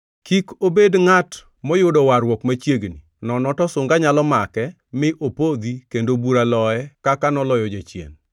Kik obed ngʼat moyudo warruok machiegni, nono to sunga nyalo make mi opodhi kendo bura loye kaka noloyo jachien.